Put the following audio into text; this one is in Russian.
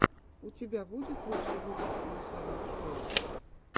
у тебя будет лучший выпуск масяняджоя